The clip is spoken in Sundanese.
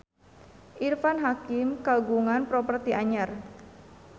Irfan Hakim kagungan properti anyar